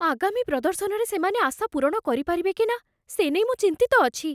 ଆଗାମୀ ପ୍ରଦର୍ଶନରେ ସେମାନେ ଆଶା ପୂରଣ କରିପାରିବେ କି ନା, ସେ ନେଇ ମୁଁ ଚିନ୍ତିତ ଅଛି।